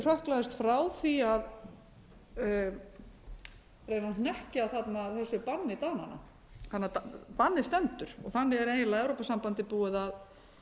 hrökklaðist frá því að reyna að hnekkja þarna þessu banni dananna bannið stendur og þar með er eiginlega evrópusambandið búið að